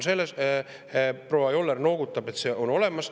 Proua Joller noogutab, et see on olemas.